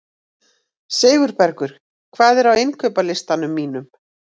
Sigurbergur, hvað er á innkaupalistanum mínum?